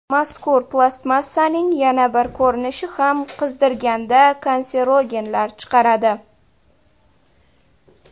Mazkur plastmassaning yana bir ko‘rinishi ham qizdirganda kanserogenlar chiqaradi.